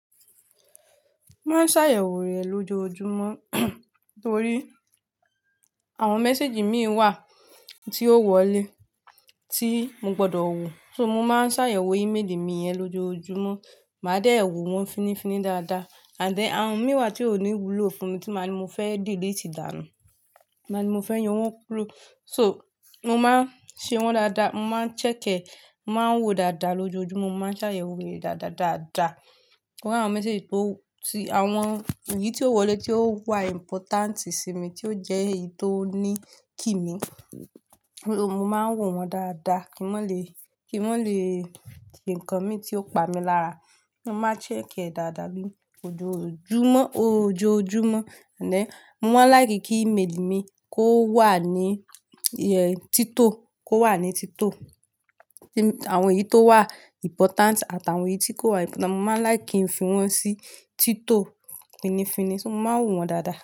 Máa ń ṣàyẹ̀wò rẹ̀ lójoojúmọ́ torí àwọn message mi wà tí ó wọlé tí mo gbọdọ̀ wo. So mo máa ń ṣàyẹ̀wò email mi yẹn lójoojúmọ́, màá dé ẹ wò wọ́n finifini dáadáa. And then àwọn mí wà tí ò ní wúlò fún mi tí màá ní mo fẹ́ delete dáná, màá ní mo fẹ́ yọ wọ́n kúrò. So mo máa ń ṣe wọ́n dáadáa, mo máa ń chẹck ẹ, mo máa ń wo dáadáa lójoojúmọ́, mo máa ń ṣàyẹ̀wò rẹ̀ dáadáa dáadáa. Kí àwọn message tó, tí àwọn èyí tí ó wọlé tí ó wà important sí mi, tí ó jẹ́ èyí tó ní kì mí, mo máa ń wo wọ́n dáadáa kí wọ́n lè, kí wọ́n lè tì ǹkan mi tí ó pa mi lára. Mo máa ń chẹck ẹ dáadáa bí lójoojúmọ́, ó jóojúmọ́. And then mo máa ń like kí email mi kó wà ní tito, kó wà ní tito. Ti àwọn èyí tó wà important àti àwọn èyí tí kò wà important, mo máa ń like kì ń fin wọ́n sí tito finifini, so mo máa ń wò wọ́n dáadáa.